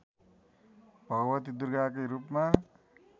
भगवती दुर्गाकै रूपमा